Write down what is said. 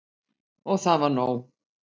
Og það var nóg.